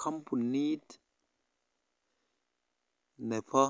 Kombunit nebo